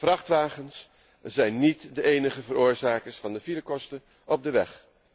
Vrachtwagens zijn niet de enige veroorzakers van de filekosten op de weg.